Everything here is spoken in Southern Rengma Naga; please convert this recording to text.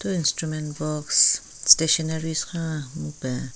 Thu instrument box stationaries khon mupen.